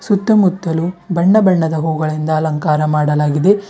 ಸುತ್ತಮುತ್ತಲು ಬಣ್ಣ ಬಣ್ಣದ ಹೂಗಳಿಂದ ಅಲಂಕಾರ ಮಾಡಲಾಗಿದೆ.